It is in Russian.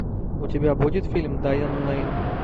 у тебя будет фильм дайан лейн